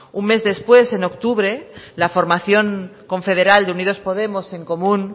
un mes después en octubre la formación confederal de unidos podemos en comú